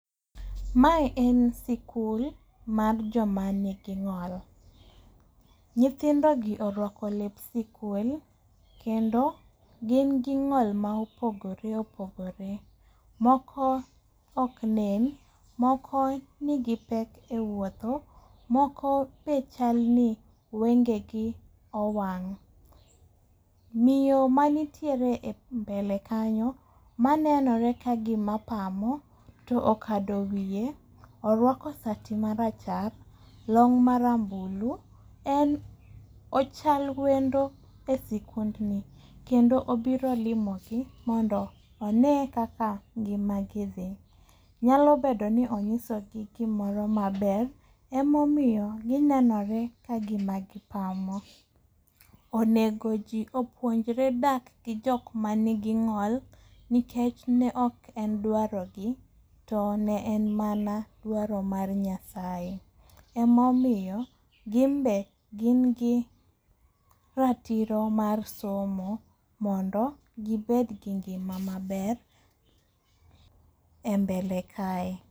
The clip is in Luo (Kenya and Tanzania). Mae en sikul mag joma nigi ng'ol. Nyithindogi orwako lep sikul kendo gin gi ng'ol ma opogore opogore. Moko ok nen, moko nigi pek ewuotho, moko be chalni wengegi owang'.Miyo manitiere embelekanyo manenore ka gima pamo to kado wiye orwako sati maracha, long marambulu ,en ochal wendo e sikundni kendo obiro limogi mondo onee kaka ngima gi dhii. Nyalo bedo ni onyisogi gi gimoro maber ema omiyo ginenore ka gima gi pamo. Onego ji opuonjre dak gi jok manigi ng'ol nikech ne ok en dwarogi to ne en mana dwaro mar Nyasaye. Ema omiyo ginbe gin gi ratiro mar somo mondo gibed gi ngima maber embele kae.